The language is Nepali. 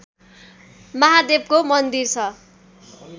महादेवको मन्दिर छ